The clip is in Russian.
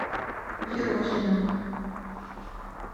ерохиным